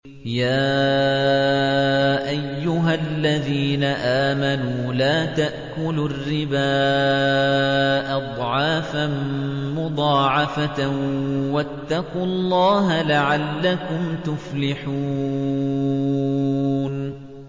يَا أَيُّهَا الَّذِينَ آمَنُوا لَا تَأْكُلُوا الرِّبَا أَضْعَافًا مُّضَاعَفَةً ۖ وَاتَّقُوا اللَّهَ لَعَلَّكُمْ تُفْلِحُونَ